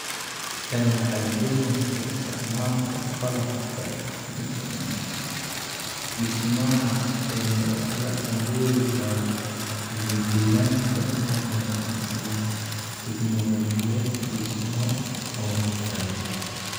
Tani waxay keenaysaa isticmaalka qalabka dhismaha ee la awoodi karo iyo deegaanka u wanaagsan iyo teknoolojiyad dhismo oo hufan.